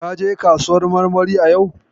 Ka je kasuwar marmarin yau?